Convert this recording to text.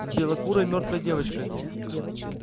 с белокурой мёртвой девочкой